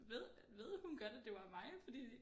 Ved ved hun godt at det var mig fordi